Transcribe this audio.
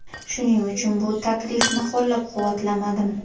Shuning uchun bu taklifni qo‘llab-quvvatlamadim”.